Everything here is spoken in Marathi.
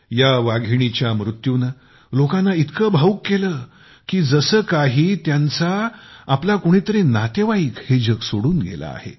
या वाघिणीच्या मृत्यूने लोकांना इतके भावूक केले की जसे काही त्यांचे आपले कोणीतरी नातेवाईक हे जग सोडून गेले आहे